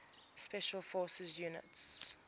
special forces units